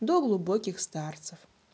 до глубоких старцев